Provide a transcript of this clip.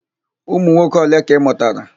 Ụmụnwoke ole ka ị mụtara?